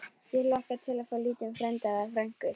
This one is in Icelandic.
Ég hlakka til að fá lítinn frænda. eða frænku!